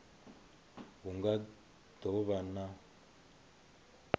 hu nga do vha na